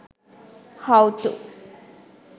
how to